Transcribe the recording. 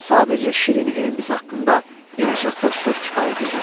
Sadəcə şirin evimiz haqqında bir neçə xoş söz kifayət edər.